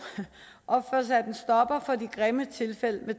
og få sat en stopper for de grimme tilfælde